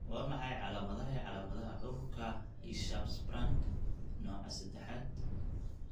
Waa maxay calaamadaha iyo calaamadaha cudurka Hirschsprung nooca sedexaad?